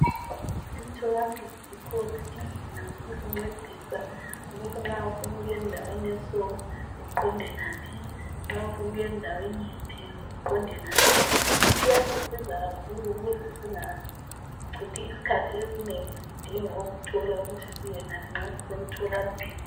Emtholampilo zikhona indlela zokusincedisa ukuthi nxa ufuna ukuyendaweni eso uqonde ngaphi nxa ufuna ukuya endaweni yiphi uqonde ngaphi. Kuyasisiza kakhulu ukuze singachithi isikhathi esinengi sidinga ukuthola ukuthi siyengaphi nxa sisemtholampilo.